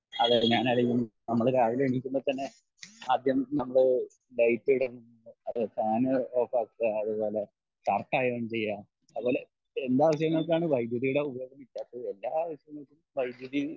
അതെ ഞാനാണേലും നമ്മൾ രാവിലെ എണീക്കുമ്പോ തന്നെ ആദ്യം നമ്മള് ലൈറ്റ് ഇടണ്ട ഫാൻ ഓഫാക്കേ അതുപോലെ ഷർട്ട് അയേൺ ചെയ്യേ അതേപോലെ എല്ലാ വൈദ്യുതീടെ ഉപയോഗം ഇല്ലാത്തത് എല്ലാ ആവശ്യങ്ങൾക്കും വൈദ്യതി